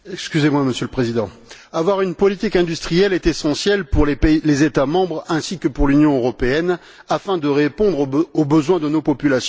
Monsieur le Président, avoir une politique industrielle est essentiel, pour les États membres ainsi que pour l'Union européenne, afin de répondre aux besoins de nos populations.